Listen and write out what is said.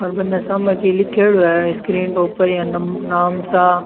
और बनने सामने कुछ लिखेडो है स्क्रीन के ऊपर नाम सा।